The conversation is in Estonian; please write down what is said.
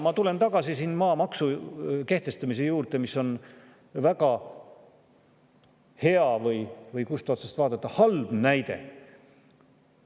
Ma tulen tagasi siin maamaksu kehtestamise juurde, mis on väga hea või, kust otsast vaadata, halb näide.